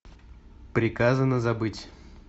приказано забыть